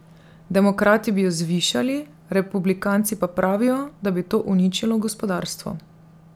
Demokrati bi jo zvišali, republikanci pa pravijo, da bi to uničilo gospodarstvo.